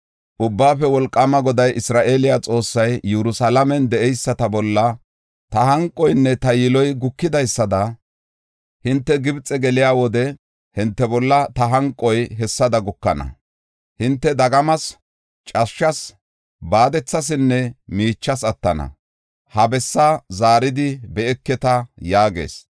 “Ubbaafe Wolqaama Goday, Isra7eele Xoossay, ‘Yerusalaamen de7eyisata bolla ta hanqoynne ta yiloy gukidaysada, hinte Gibxe geliya wode hinte bolla ta hanqoy hessada gukana. Hinte dagamas, cashshas, baadethasinne miicha attana; ha bessaa zaaridi be7eketa’ yaagees.